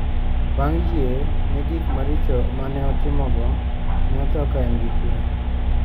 Bang` yie ne gik maricho ma ne otimogo, ne otho ka en gi kwe.